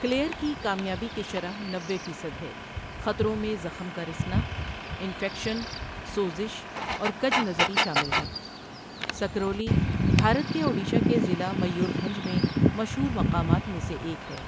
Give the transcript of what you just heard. Clear کی کامیابی کی شرح نوے فیصد ہے خطروں میں زخم کا رسنا، انفیکشن، سوزش اور کَج نَظری شامل ہیں سکرولی، بھارت کے اوڈیشہ کے ضلع میور بھنج میں مشہور مقامات میں سے ایک ہے۔